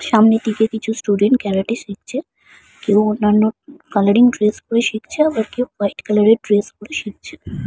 সামনের দিকে কিছু স্টুডেন্ট ক্যারাটে শিখছে কেউ অন্যান্য কালারিং ড্রেস পরে শিখছে আবার কেউ হোয়াইট কালারের ড্রেস পরে শিখছে ।